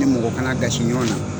Ni mɔgɔ kana dasi ɲɔgɔn na.